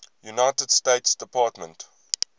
united states department